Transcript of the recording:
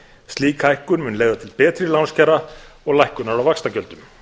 slík hækkun mun leiða til betri lánskjara og lækkunar á vaxtagjöldum